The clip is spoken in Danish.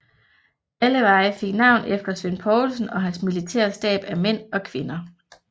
Alle veje fik navn efter Svend Poulsen og hans militære stab af mænd og kvinder